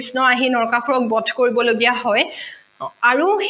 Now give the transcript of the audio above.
কৃষ্ণই আহি নৰকাসুৰক বধ কৰিবলগীয়া হয় আৰু